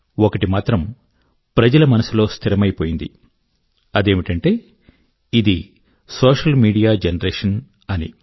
ఒకమాట మాత్రం ప్రజల మనసులో స్థిరమైపోయింది అదేమిటంటే ఇది సోషల్ మీడియా జనరేషన్ అని